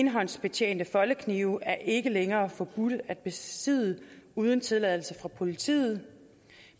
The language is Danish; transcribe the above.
enhåndsbetjente foldeknive er ikke længere forbudte at besidde uden tilladelse fra politiet